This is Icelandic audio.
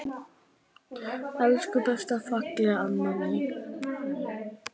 Elsku besta fallega amma mín.